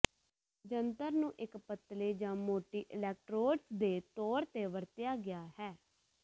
ਜੰਤਰ ਨੂੰ ਇੱਕ ਪਤਲੇ ਜ ਮੋਟੀ ਅਲੈਕਟ੍ਰੋਡਜ਼ ਦੇ ਤੌਰ ਤੇ ਵਰਤਿਆ ਗਿਆ ਹੈ